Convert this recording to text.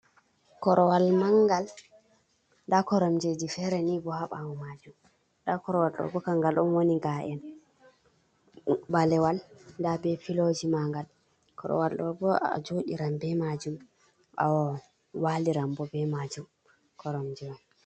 Korowal manngal, ndaa koromjeji feere ni bo, haa ɓaawo maajum. Ndaa korowal ɗo bo kanngal on, woni ga’en ɓaleewal, ndaa be pilooji maagal. Korowal ɗo bo a jooɗiran be maajum, bo waaliran bo be maajum, koromje man.